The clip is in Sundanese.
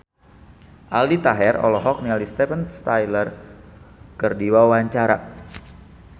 Aldi Taher olohok ningali Steven Tyler keur diwawancara